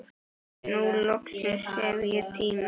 Nú loksins hef ég tíma.